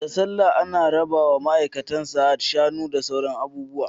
Da sallah ana rabawa maaikatan Sahad Shanu da sauran abubuwa